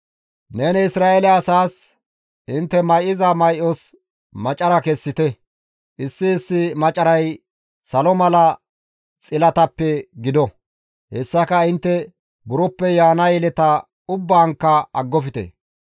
«Neni Isra7eele asaas, ‹Intte may7iza may7os macara kessite; issi issi macaray salo misatiza xilatappe gido; hessaka intte buroppe yaana yeleta ubbaankka aggofte.